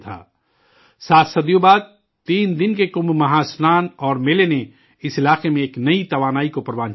سات صدیوں بعد، تین دن کے کمبھ مہا اشنان اور میلہ نے، اس علاقے میں ایک نئی توانائی پھونکی ہے